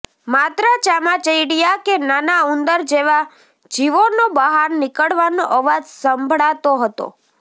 માત્ર ચામાચીડિયાં કે નાનાં ઊંદર જેવા જીવોનો બહાર નીકળવાનો અવાજ સંભાળાતો હતો